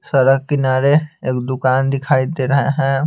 सड़क किनारे एक दुकान दिखाई दे रहा है।